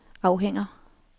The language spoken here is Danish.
afhænger